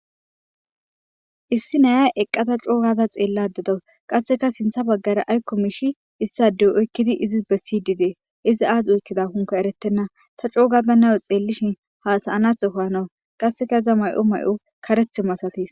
Issi naya coo gaada xeellada dawus. Qasseka sintha baggara ayikko miishshi oykkidi izis bessidi deuees. Izi aazi oykkidakonne erettenna. Ta coo gada nayo xeellishin hasayanatho gawus. Iza may7os karethi masatees.